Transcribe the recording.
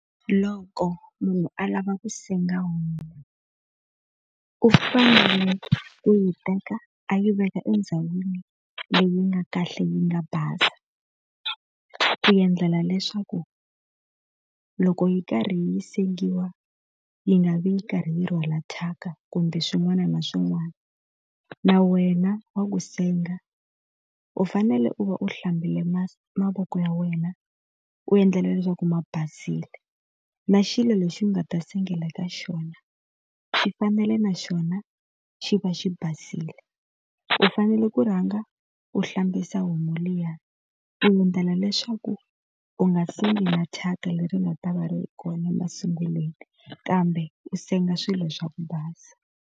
Loko munhu a lava ku senga homu, u fanele ku yi teka a yi veka endhawini leyi nga kahle yi nga basa. Ku endlela leswaku loko yi karhi yi sengiwa yi nga vi yi karhi yi rhwala thyaka kumbe swin'wana na swin'wana. Na wena wa ku senga u fanele u va u hlambile mavoko ya wena, u endla leswaku ma basile. Na xilo lexi nga ta sengela ka xona, xi fanele na xona xi va xi basile. U fanele ku rhanga u hlambisa homu liya ku endlela leswaku u nga sengi na thyaka leri nga ta va ri kona masunguleni, kambe u senga swilo swa ku basa.